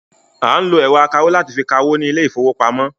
À ń lọ ẹ̀rọ akawó láti fi ka owó ní ilé ìfowópamọ́.